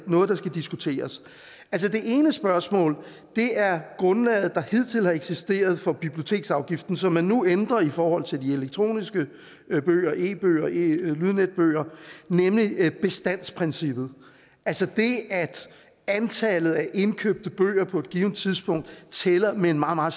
noget der skal diskuteres det ene spørgsmål er grundlaget der hidtil har eksisteret for biblioteksafgiften som man nu ændrer i forhold til de elektroniske bøger e bøger lydnetbøger nemlig bestandsprincippet altså det at antallet af indkøbte bøger på et givent tidspunkt tæller med en meget meget